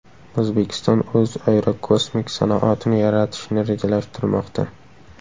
O‘zbekiston o‘z aerokosmik sanoatini yaratishni rejalashtirmoqda.